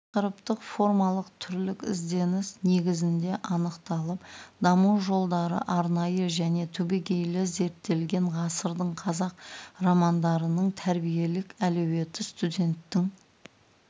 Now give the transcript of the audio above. тақырыптық формалық түрлік ізденіс негізінде анықталып даму жолдары арнайы және түбегейлі зерттелген ғасырдың қазақ романдарының тәрбиелік әлеуеті студенттің